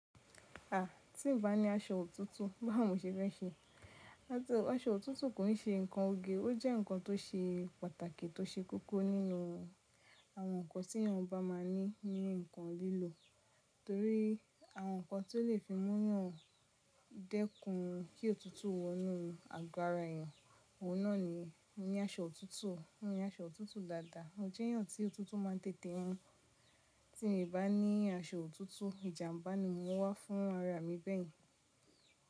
À, tí n bá ní aṣọ òtútù báwo ni moṣe fẹ́ ṣe. Aṣọ òtútù kò n se ǹkan oge, ó jẹ́ ǹkan tó ṣe pàtàkì tó ṣe koko nínú àwọn ǹkan tí ènìyàn bá máa ní ní ǹkan lílò. Torí àwọn ǹkan tí ó le fi múnyàn dẹ́kun kí òtútù wọ inú àgò ara ènìyàn, òun náà ní aṣọ òtútù. Ní aṣọ òtútù dáadáa, mò jẹ́yàn tí òtútù ma ń tètè mú. Tí mi bá ní aṣọ òtútù, ìjàmbá ni mo n wá fún ara mi bẹ́ẹ̀ni.